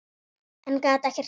En gat ekkert gert.